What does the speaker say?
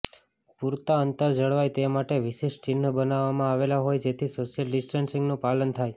પૂરતા અંતર જળવાય તે માટે વિશિષ્ટ ચિહ્ન બનાવવામાં આવેલા હોય જેથી સોશ્યલ ડિસ્ટન્સિંગનું પાલન થાય